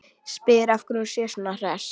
Spyr af hverju hún sé svona hress.